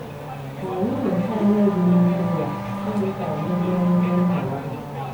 Ka anyị nyochaa ihe dị n'ime ya ime ka anyị bụrụ ụdị nna ahụ.